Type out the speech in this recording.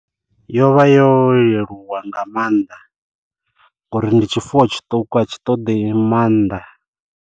Yo vha yo leluwa nga maanḓa ngori ndi tshifuwo tshiṱuku a tshi ṱoḓi maanḓa.